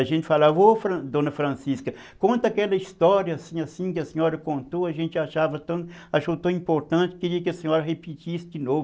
A gente falava, ô Fran dona Francisca, conta aquela história assim, assim, que a senhora contou, a gente achou tão importante, queria que a senhora repetisse de novo.